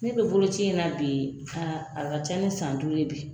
Ne bi bolokoci in na bi yen a ka ca ni san duuru ye bi